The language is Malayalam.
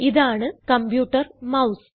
ഇതാണ് കമ്പ്യൂട്ടർ മൌസ്